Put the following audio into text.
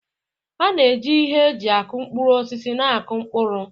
A na-eji ihe eji aku mkpụrụ osisi na-akụ mkpụrụ.